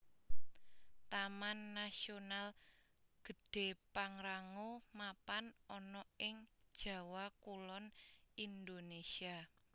Taman Nasional Gede Pangrango mapan ana ing Jawa Kulon Indonésia